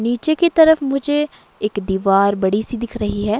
नीचे की तरफ मुझे एक दीवार बड़ी सी दिख रही है।